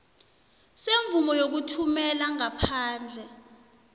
semvumo yokuthumela ngaphandle